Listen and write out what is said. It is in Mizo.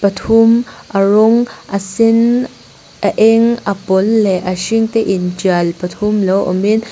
thum a rawng a sen a eng a pawl leh a hring te in tial pathum lo awmin--